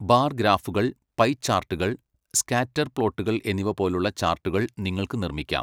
Bar ഗ്രാഫുകൾ, pie ചാർട്ടുകൾ, scatter പ്ലോട്ടുകൾ എന്നിവ പോലുള്ള ചാർട്ടുകൾ നിങ്ങൾക്ക് നിർമ്മിക്കാം.